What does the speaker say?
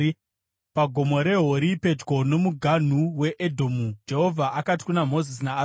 PaGomo reHori, pedyo nomuganhu weEdhomu, Jehovha akati kuna Mozisi naAroni,